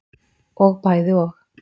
Og bæði og.